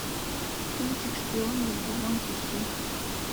кинчик шпион выйди вон ищи